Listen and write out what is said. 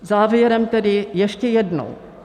Závěrem tedy ještě jednou.